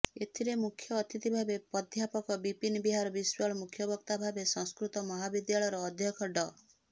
ଏଥିରେ ମୁଖ୍ୟ ଅତିଥିଭାବେ ପ୍ରାଧ୍ୟାପକ ବିପିନ ବିହାର ବିଶ୍ୱାଳ ମୁଖ୍ୟବକ୍ତା ଭାବେ ସଂସ୍କୃତ ମହାବିଦ୍ୟାଳୟର ଅଧ୍ୟକ୍ଷ ଡ